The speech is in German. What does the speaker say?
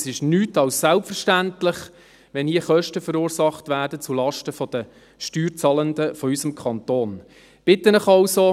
Das ist nichts als selbstverständlich, wenn hier Kosten zulasten der Steuerzahlenden unseres Kantons verursacht werden.